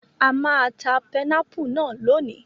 A máa ta pẹnápù náà lónìí.